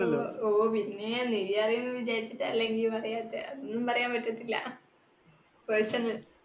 ഓ പിന്നെ നീ അറിയുന്ന വിചാരിച്ചിട്ടല്ല പറയാത്തെ, അതൊന്നും പറയാൻ പറ്റത്തില്ല. personal